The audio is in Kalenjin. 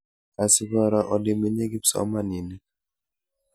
Asikoro olemenye kipsomaninik.